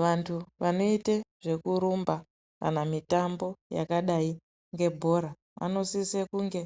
Vantu vanoita zvekurumba kana mitambo yakaita vanosisa kunge